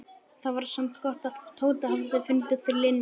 Það var samt gott að Tóti hafði fundið Linju.